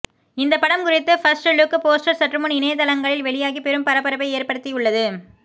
இந்த படம் குறித்த ஃபர்ஸ்ட் லுக் போஸ்டர் சற்றுமுன் இணையதளங்களில் வெளியாகி பெரும் பரபரப்பை ஏற்படுத்தியுள்ளது